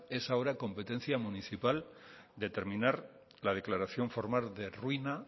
es ahora competencia municipal determinar la declaración formal de ruina